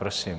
Prosím.